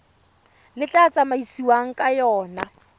le tla tsamaisiwang ka yona